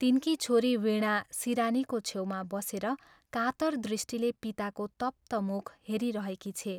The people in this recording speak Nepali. तिनकी छोरी वीणा सिरानीको छेउमा बसेर कातर दृष्टिले पिताको तप्त मुख हेरिरहेकी छे।